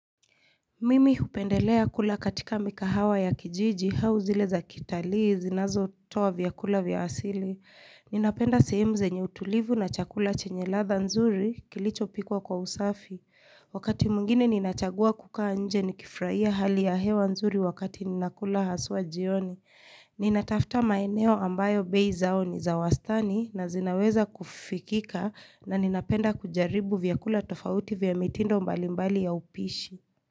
Mimi hupendelea kula katika mikahawa ya kijiji hau zileza kitalii zinazo toa vyakula vya asili. Ninapenda sehemu zenye utulivu na chakula chenye ladha nzuri kilicho pikwa kwa usafi. Wakati mungine ninachagua kukaa nje ni kifraia hali ya hewa nzuri wakati ninakula haswa jioni. Ninatafta maeneo ambayo beizao ni zawastani na zinaweza kufikika na ninapenda kujaribu vyakula tofauti vya mitindo mbalimbali ya upishi.